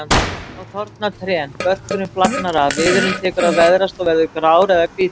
Þá þorna trén, börkurinn flagnar af, viðurinn tekur að veðrast og verður grár eða hvítur.